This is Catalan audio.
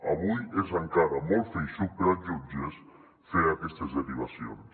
avui és en cara molt feixuc per als jutges fer aquestes derivacions